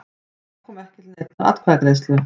Þá kom ekki til neinnar atkvæðagreiðslu